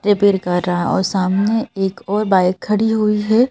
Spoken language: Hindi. रिपेयर कर रहा है और सामने एक और बाइक खड़ी हुई है।